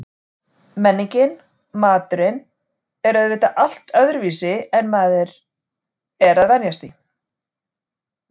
Menningin og maturinn er auðvitað allt öðruvísi en maður er að venjast því.